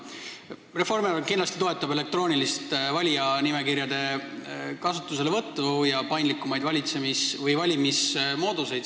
Reformierakond kindlasti toetab elektrooniliste valijanimekirjade kasutuselevõttu ja paindlikumaid valimismooduseid.